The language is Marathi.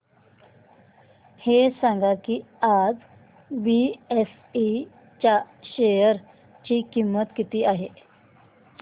हे सांगा की आज बीएसई च्या शेअर ची किंमत किती आहे